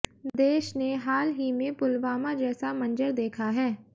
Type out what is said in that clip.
देश ने हाल ही में पुलवामा जैसा मंजर देखा है